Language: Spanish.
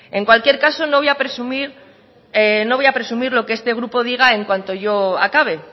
en cualquier caso no voy a presumir lo que este grupo diga en cuanto yo acabe